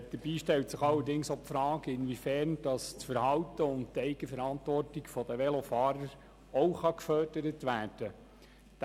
Dabei stellt sich allerdings auch die Frage, inwiefern das Verhalten und die Eigenverantwortung der Velofahrer auch gefördert werden kann.